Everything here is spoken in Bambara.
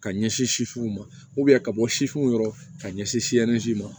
Ka ɲɛsin sifinw ma ka bɔ sisiw yɔrɔ ka ɲɛsin ma